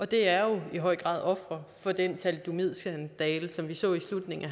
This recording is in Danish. det er i høj grad ofre for den thalidomidskandale som vi så i slutningen af